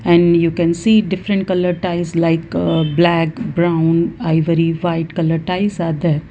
and you can see different colour tiles like uh black brown ivory white colour tiles are there.